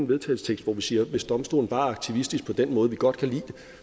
vedtagelse hvor vi siger hvis domstolen bare er aktivistisk på den måde vi godt kan lide det